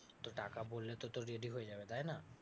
তো টাকা বললে তো তোর ready হয়ে যাবে, তাই না?